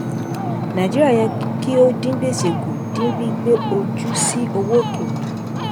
nàìjíríà yẹ kí ó dín gbèsè kù dín gbígbé ojú sí owó òkèrè.